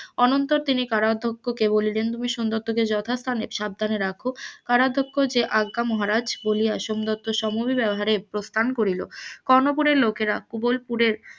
অনন্তর তিনি কারাধ্যক্ষকে বলিলেন সোমদত্তাকে যথাস্থানে সাবধানে রাখ কারাধ্যক্ষ আজ্ঞা মহারাজ বলিয়া সোমদত্তের সহের প্রস্থান করিল লোকেরা উভয় পুরের,